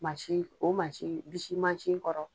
o bisi kɔrɔ